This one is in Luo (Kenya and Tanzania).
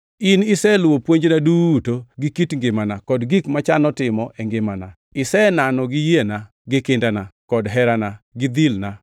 In iseluwo puonjna duto, gi kit ngimana, kod gik machano timo e ngimana; iseneno gi yiena, gi kindana, kod herana gi dhilna,